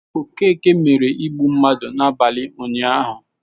Okeke mere igbu mmadụ n'abalị ụnyahụ.